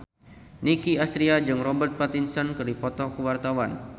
Nicky Astria jeung Robert Pattinson keur dipoto ku wartawan